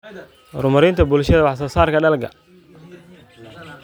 Horumarinta Bulshada Wax-soo-saarka Dalagga.